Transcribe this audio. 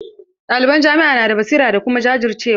Ɗaliban jami'a na da basira da kuma jajircewa.